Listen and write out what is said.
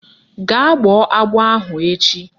Gaa gbọọ agbọ ahụ echi!